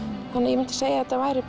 ég myndi segja að þetta væri